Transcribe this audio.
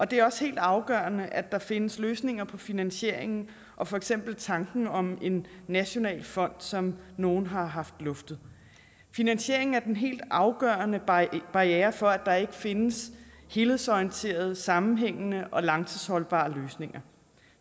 det er også helt afgørende at der findes løsninger på finansieringen og for eksempel tanken om en national fond som nogle har luftet finansieringen er den helt afgørende barriere for at der ikke findes helhedsorienterede sammenhængende og langtidsholdbare løsninger